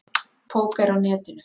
Póker á Netinu.